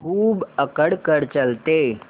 खूब अकड़ कर चलते